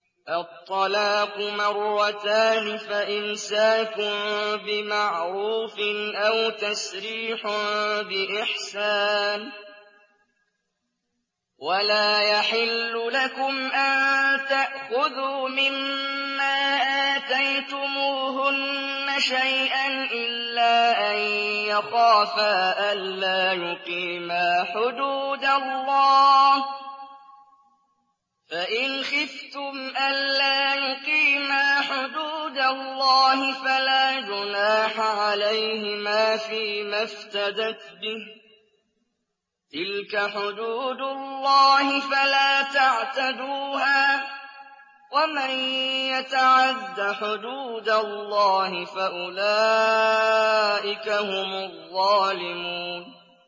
الطَّلَاقُ مَرَّتَانِ ۖ فَإِمْسَاكٌ بِمَعْرُوفٍ أَوْ تَسْرِيحٌ بِإِحْسَانٍ ۗ وَلَا يَحِلُّ لَكُمْ أَن تَأْخُذُوا مِمَّا آتَيْتُمُوهُنَّ شَيْئًا إِلَّا أَن يَخَافَا أَلَّا يُقِيمَا حُدُودَ اللَّهِ ۖ فَإِنْ خِفْتُمْ أَلَّا يُقِيمَا حُدُودَ اللَّهِ فَلَا جُنَاحَ عَلَيْهِمَا فِيمَا افْتَدَتْ بِهِ ۗ تِلْكَ حُدُودُ اللَّهِ فَلَا تَعْتَدُوهَا ۚ وَمَن يَتَعَدَّ حُدُودَ اللَّهِ فَأُولَٰئِكَ هُمُ الظَّالِمُونَ